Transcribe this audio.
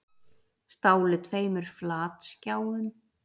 Stálu tveimur flatskjáum